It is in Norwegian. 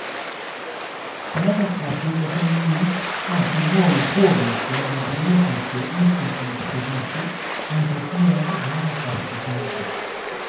Bærekraftig økonomi har som mål å påvirke den politiske utviklingsprosessen mot et mer bærekraftig samfunn.